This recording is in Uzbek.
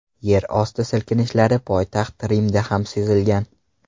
Yerosti silkinishlari poytaxt Rimda ham sezilgan.